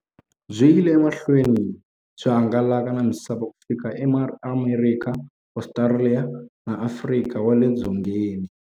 Byi yile emahlweni byi hangalaka na misava ku fika e Amerika, Ostraliya na Afrika wale dzongeni.